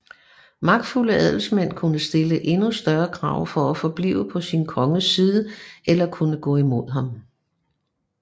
Magtfulde adelsmænd kunne stille endnu større krav for at forblive på sin konges side eller kunne gå imod ham